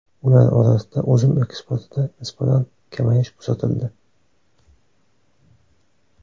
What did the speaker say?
Ular orasida uzum eksportida nisbatan kamayish kuzatildi.